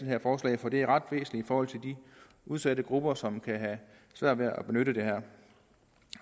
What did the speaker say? her forslag for det er ret væsentligt for de udsatte grupper som kan have svært ved at benytte det her